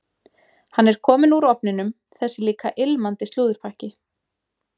Hann er kominn úr ofninum, þessi líka ilmandi slúðurpakki.